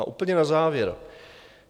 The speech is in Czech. A úplně na závěr.